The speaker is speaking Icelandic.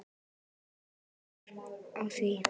Þetta svar byggir á því.